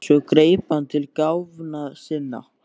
Svo greip hann til gáfna sinna.